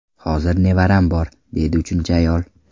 Hozir nevaram bor”, deydi uchinchi ayol.